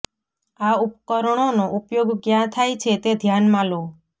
આ ઉપકરણોનો ઉપયોગ ક્યાં થાય છે તે ધ્યાનમાં લો